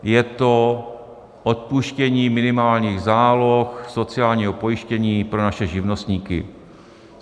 Je to odpuštění minimálních záloh sociálního pojištění pro naše živnostníky.